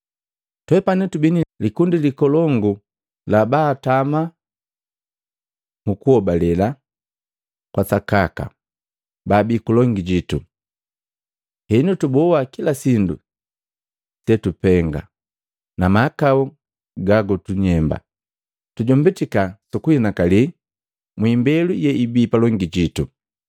Twepane tubi ni likundi likolongu la babatamaa mu kuhobale kwa sakaka baabii kulongi jitu, henu tuboa kila sindu se sutupenga, na mahakau ga gagutunyemba. Tujombitika su kuhinakali mwi imbelu yeabei palongi jitu.